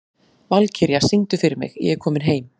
Valkyrja, syngdu fyrir mig „Ég er kominn heim“.